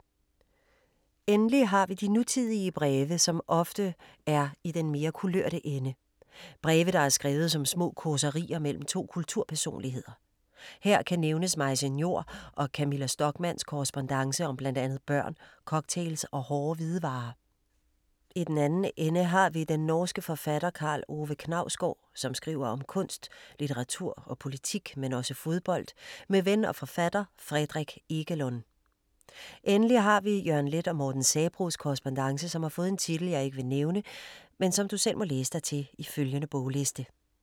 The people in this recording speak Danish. Endelig har vi de nutidige breve, som ofte er i den mere kulørte ende. Breve der er skrevet som små causerier mellem to kulturpersonligheder. Her kan nævnes Maise Njor og Camilla Stockmanns korrespondance om blandt andet børn, cocktails og hårde hvidevarer. I den anden ende har vi den norske forfatter Karl Ove Knausgård som skriver om kunst, litteratur og politik, men også fodbold, med ven og forfatter Fredrik Ekelund. Endelig har vi Jørgen Leth og Morten Sabroes korrespondance, som har fået en titel, jeg ikke vil nævne, men som du selv må læse dig til i følgende bogliste.